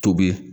Tobi